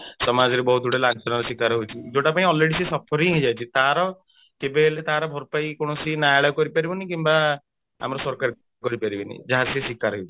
ସମାଜରେ ବହୁତ ଗୁଡେ ଲାଞ୍ଛନା ର ଶିକାର ହଉଛି ଯୋଉଟା ପାଇଁ already ସେ suffering ହେଇଯାଇଛି ତାର କେବେହେଲେ ତାର ଭାରପାଇ କୌଣସି ନ୍ୟାୟଳୟ କରି ପାରିବନି କିମ୍ବା ଆମ ସରକାର କରି ପାରିବେନି ଯାହା ସେ ଶିକାର ହେଇଛି